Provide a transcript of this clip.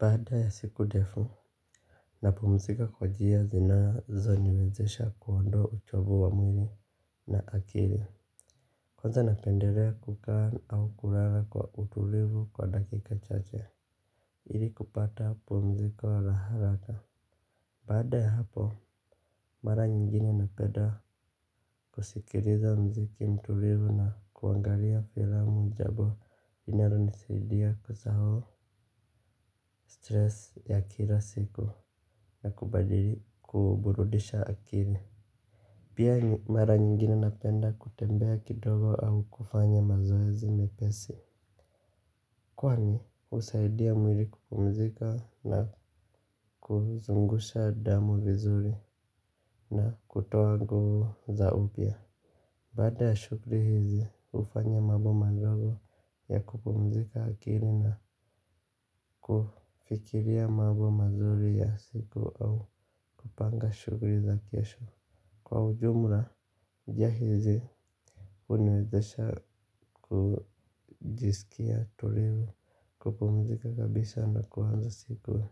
Baada ya siku ndefu. Napumzika kwa njia zinazoniwezesha kuondoa uchovu wa mwili na akili. Kwanza napendelea kukaa au kulala kwa utulivu kwa dakika chache. Ili kupata pumziko la haraka baada ya hapo, mara nyingine napeda kusikiliza mziki mtulivu na kuangalia filamu jambo. Inalonisaidia kusahau stress ya kila siku na kubadili kuburudisha akili. Pia mara nyingine napenda kutembea kidogo au kufanya mazoezi mepesi. Kwani husaidia mwili kupumzika na kuzungusha damu vizuri na kutoa nguvu za upya. Baada ya shughuli hizi hufanya mambo madogo ya kupumzika akili na kufikiria mambo mazuri ya siku au kupanga shughuli za kesho. Kwa ujumla njia hizi huniwezesha kujisikia tulivu kupumzika kabisa na kuanza siku.